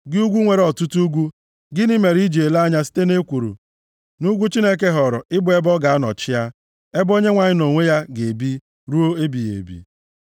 Gị ugwu nwere ọtụtụ ugwu, gịnị mere i ji ele anya site nʼekworo nʼugwu Chineke họọrọ ị bụ ebe ọ ga-anọ chịa, ebe Onyenwe anyị nʼonwe ya ga-ebi, ruo ebighị ebi?